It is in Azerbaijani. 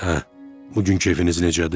Hə, bugünkü əfiniz necədir?